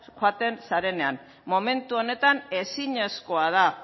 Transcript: joaten zarenean momentu honetan ezinezkoa da